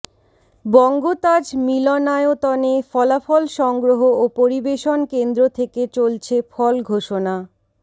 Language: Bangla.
বঙ্গতাজ মিলনায়তনে ফলাফল সংগ্রহ ও পরিবেশন কেন্দ্র থেকে চলছে ফল ঘোষণা